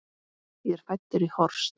Ég er fæddur í Horst.